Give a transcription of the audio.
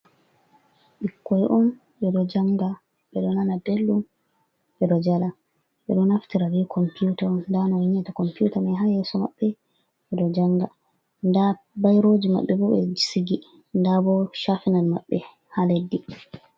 Ɓikkoy on ɓe ɗo jannga, ɓe ɗo nana belɗum, ɓe ɗo jala, ɓe ɗo naftira be compuuta. Nda ɓe ɗo naftira be compuuta man haa yeeso maɓɓe ɓe ɗo jannga, ndaa bayrooji maɓɓe bo, ɓe sigi, nda bo caafinal maɓɓe haa leddi.